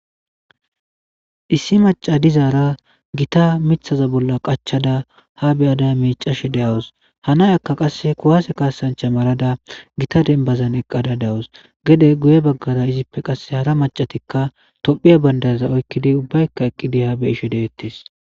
Issi maca dizaara gita mithaza bolla qachada ha beyada miicashe deawus hanay akka qasse kuwase kaasancha marada gita denbazan eqqada dawus gede guye baggara izippe qasse hara macatikka tophiya bandaza oykkidi ubbaykka eqqidi ha be ishe deettes.